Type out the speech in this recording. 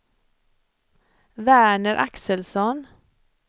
Verner Axelsson